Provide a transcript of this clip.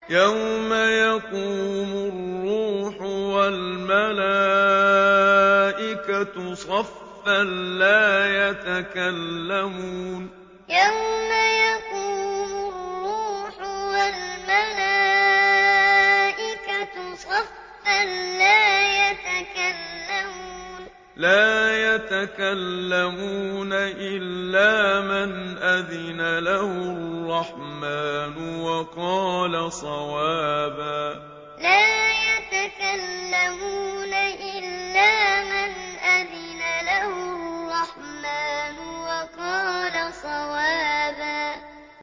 يَوْمَ يَقُومُ الرُّوحُ وَالْمَلَائِكَةُ صَفًّا ۖ لَّا يَتَكَلَّمُونَ إِلَّا مَنْ أَذِنَ لَهُ الرَّحْمَٰنُ وَقَالَ صَوَابًا يَوْمَ يَقُومُ الرُّوحُ وَالْمَلَائِكَةُ صَفًّا ۖ لَّا يَتَكَلَّمُونَ إِلَّا مَنْ أَذِنَ لَهُ الرَّحْمَٰنُ وَقَالَ صَوَابًا